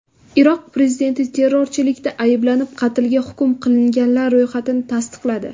Iroq prezidenti terrorchilikda ayblanib qatlga hukm qilinganlar ro‘yxatini tasdiqladi.